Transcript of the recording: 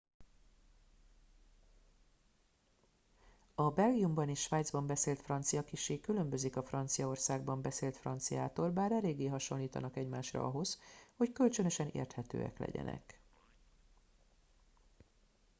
a belgiumban és svájcban beszélt francia kissé különbözik a franciaországban beszélt franciától bár eléggé hasonlítanak egymásra ahhoz hogy kölcsönösen érthetők legyenek